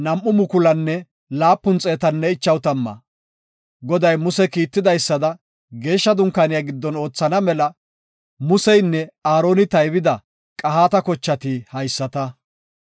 Goday Muse kiitidaysada Geeshsha Dunkaaniya giddon oothana mela Museynne Aaroni taybida Qahaata kochati haysata.